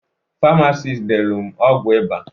Farmasis delu m ọgwụ iba